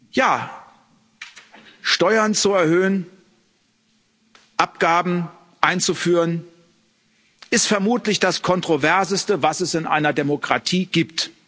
Ja, Steuern zu erhöhen, Abgaben einzuführen ist vermutlich das Kontroverseste, was es in einer Demokratie gibt.